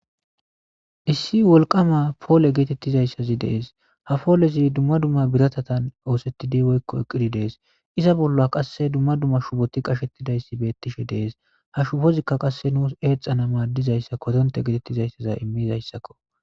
Issi wolqama poole geetettizayssazi dees ha poolezi dumma dumma biratatan oosettidi woykko eqqiri dees iza bolla qasse dumma dumma shuboti qashettidayssi beettishe dees ha shubozikka qasse nuus eexana maaddizayssa kodonte geetettizayssaza immizayssakko